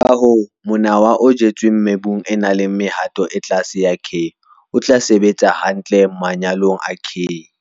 Ka hoo, monawa o jetsweng mebung e nang le mehato e tlase ya K o tla sebetsa hantle manyolong a K.